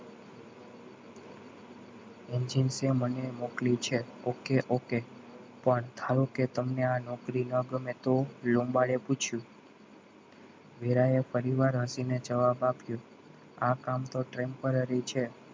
engine છે મને મોકલ્યું છે okay okay પણ ધારો કે તમને આ નોકરી ન ગમે તો લોંબાડે પૂછ્યુ વેરાઈ ફરી વાર હસીને જવાબ આપ્યો. આ કામ તો temporary છે.